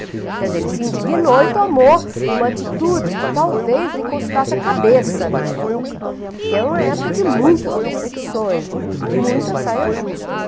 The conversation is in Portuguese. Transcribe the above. Quer dizer, ele se indignou e tomou uma atitude que talvez lhe custasse a cabeça na época, porque era uma época de muitas perseguições, de muitas saias justas, né.